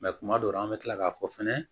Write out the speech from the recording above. Mɛ kuma dɔw la an bɛ tila k'a fɔ fɛnɛ